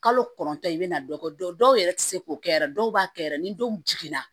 Kalo kɔnɔntɔn i bɛna dɔ kɛ dɔw yɛrɛ tɛ se k'o kɛ yɛrɛ dɔw b'a kɛ yɛrɛ ni dɔw jiginna